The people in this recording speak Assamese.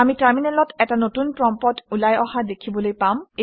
আমি টাৰমিনেলত এটা নতুন প্ৰম্পট্ ওলাই অহা দেখিবলৈ পাম